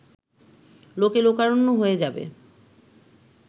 লোকে লোকারণ্য হয়ে যাবে